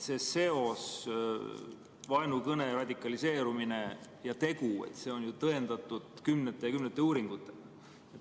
Seos vaenukõne, radikaliseerumise ja teo vahel on tõendatud kümnete ja kümnete uuringutega.